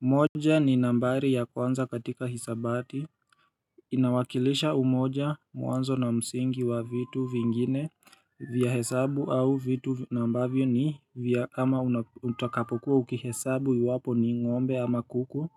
Moja ni nambari ya kwanza katika hisabati Inawakilisha umoja mwanzo na msingi wa vitu vingine vya hesabu au vitu ambavyo ni vya ama utakapokuwa ukihesabu iwapo ni ngombe ama kuku